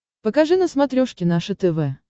покажи на смотрешке наше тв